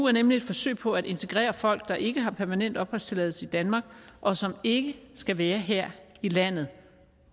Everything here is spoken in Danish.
er nemlig et forsøg på at integrere folk der ikke har permanent opholdstilladelse i danmark og som ikke skal være her i landet